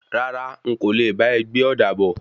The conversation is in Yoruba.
Rárá,n kò le bá e gbé ọ̀da bọ̀.